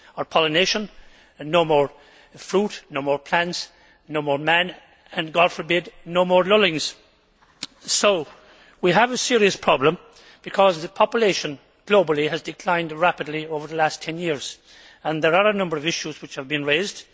pollination and no more fruit, no more plants, no more man and, God forbid, no more Lullings. So we have a serious problem, because the population globally has declined rapidly over the last 10 years. There are a number of issues which have been raised.